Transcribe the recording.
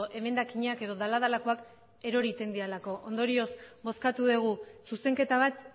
emendakinak edo dena delakoak erori egiten direlako ondorioz bozkatu dugu zuzenketa bat